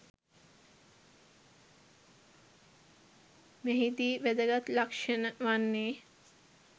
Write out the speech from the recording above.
මෙහිදී වැදගත් ලක්‍ෂණ වන්නේ